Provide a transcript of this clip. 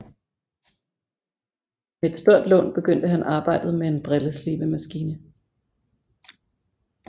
Med et stort lån begyndte han arbejdet med en brilleslibemaskine